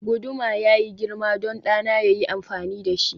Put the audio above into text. guduma yayi girma don ɗana ya yi amfani da shi